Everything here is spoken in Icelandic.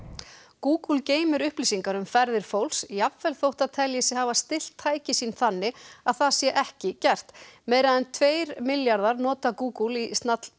Google geymir upplýsingar um ferðir fólks jafnvel þótt það telji sig hafa stillt tæki sín þannig að það sé ekki gert meira en tveir milljarðar nota Google í